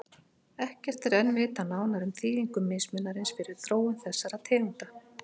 Ekkert er enn vitað nánar um þýðingu mismunarins fyrir þróun þessara tegunda.